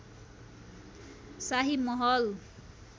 शाही महल